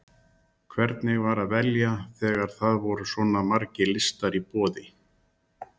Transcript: Elín Margrét Böðvarsdóttir: Hvernig var að velja þegar það voru svona margir listar í boði?